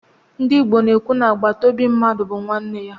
Ndị Igbo na-ekwu na agbataobi mmadụ bụ nwanne ya.